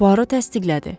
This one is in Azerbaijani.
Puaro təsdiqlədi.